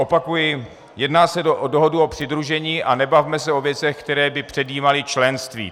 Opakuji - jedná se o dohodu o přidružení a nebavme se o věcech, které by předjímaly členství.